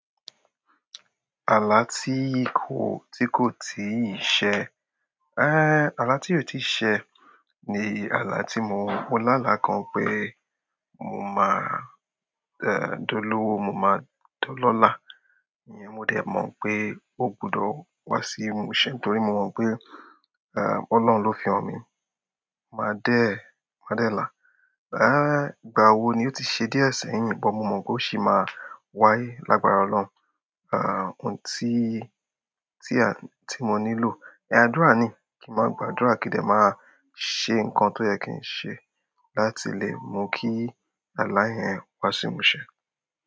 Ààlà tí kò, tí kò tiì ṣe. Ààlà tí ò ti ṣe ni ààlà tí mo mọ láàlá kan pé mo máa dolówó, mo máa dolọ́lá, ìyẹn mo dẹ̀ mọ̀ pé ó gbọdọ̀ wá sí imúṣẹ nítorí mo mọ̀ pé Ọlọ́run ló fi han mi. Maa de la. Rárá, ìgbà wo ni ò ti ṣe díẹ̀ sẹ́yìn, but mo mọ̀ pé ó ṣì máa wáyé lágbára Ọlọ́run. Ah òun tí, tí mo nílò. Àdúrà ni. Kí n máa gbàdúrà kí n dẹ̀ máa ṣe nǹkan tó yẹ kí n ṣe láti lè mú kí ààlà yẹn wá símúṣẹ.